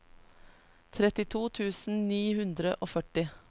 trettito tusen ni hundre og førti